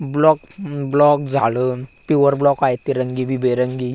Block block झाड pure block आहे ते रंगबेरंगी.